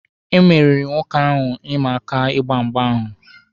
E meriri nwoke ahụ ịma aka ịgba mgba ahụ.